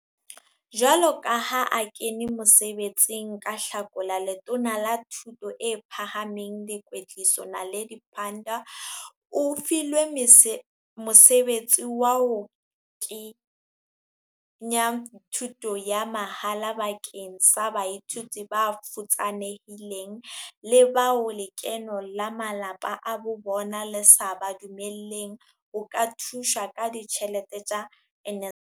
Jwalo ka ha a kene mosebe tsing ka Hlakola, Letona la Thuto e Phahameng le Kwetliso, Naledi Pandor o filwe mosebetsi wa ho ke nya thuto ya mahala bakeng sa baithuti bafutsanehileng le bao lekeno la malapeng a bobona le sa ba dumelleng ho ka thuswa ka ditjhelete tsa NSFAS.